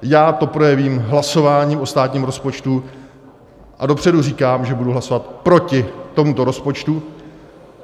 Já to projevím hlasováním o státním rozpočtu a dopředu říkám, že budu hlasovat proti tomuto rozpočtu.